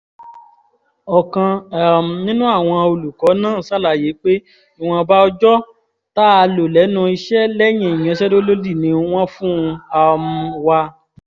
ọ̀kan um nínú àwọn olùkọ́ náà ṣàlàyé pé ìwọ̀nba ọjọ́ tá a lò lẹ́nu iṣẹ́ lẹ́yìn ìyanṣẹ́lódì ni wọ́n fún um wa